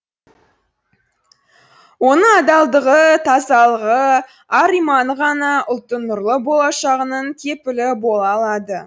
оның адалдығы тазалығы ар иманы ғана ұлттың нұрлы болашағының кепілі бола алады